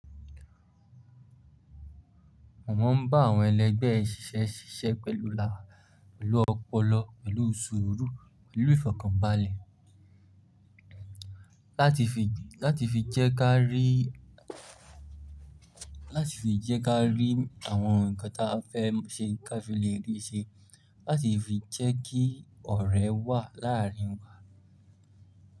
Mọ̀ máa ń bá àwọn ẹlẹgbẹ́ ṣíṣe ṣíṣe pẹ̀lú ọpọlọ, pẹ̀lú sùúrù, pẹ̀lú ìfọ̀kànbalẹ̀. Láti fi lè jé ká rí àwon nkan tí a fé se, ká fi lè rí i se, láti fi jé kí òré wà.